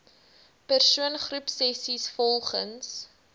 persoon groepsessies volgens